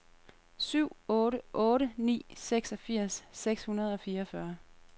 syv otte otte ni seksogfirs seks hundrede og fireogfyrre